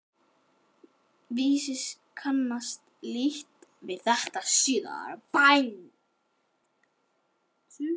Vísis kannaðist lítt við það síðar.